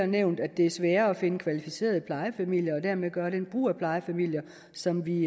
nævnt at det er sværere at finde kvalificerede plejefamilier og dermed gøre den brug af plejefamilier som vi